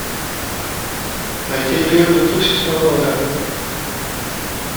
найти фильм две тысячи шестого года